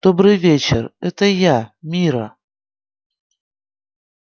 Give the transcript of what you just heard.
добрый вечер это я мирра